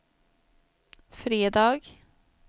fredag